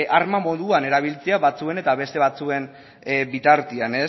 arma moduan erabiltzea batzuen eta beste batzuen bitartean